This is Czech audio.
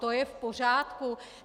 To je v pořádku?